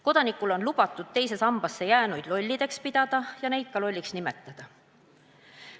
Kodanikul on lubatud teise sambasse jäänuid lolliks pidada ja neid ka lolliks nimetada.